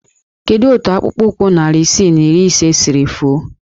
Kedu otu akpụkpọụkwụ narị isii na iri ise siri fuo?